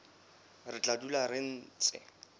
re tla dula re ntse